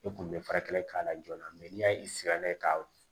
E kun bɛ fara kelen k'a la joona n'i y'a sigi n'a ye k'a